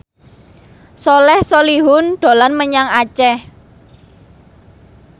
Soleh Solihun dolan menyang Aceh